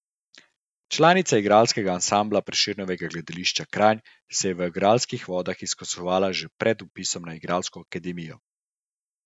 Članica igralskega ansambla Prešernovega gledališča Kranj se je v igralskih vodah izkazovala še pred vpisom na igralsko akademijo.